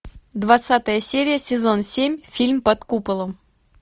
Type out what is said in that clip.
двадцатая серия сезон семь фильм под куполом